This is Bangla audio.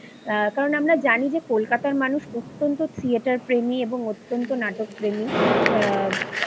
আ কারণ আমরা জানি যে কলকাতার মানুষ অতন্ত্য থিয়েটারপ্রেমী এবং অতন্ত্য নাটকপ্রেমী আ